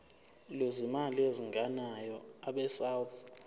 lwezimali ezingenayo abesouth